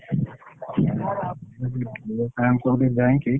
Sir ଙ୍କ କତିକି ଯାଇକି।